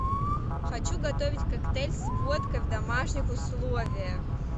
хочу готовить коктейль с водкой в домашних условиях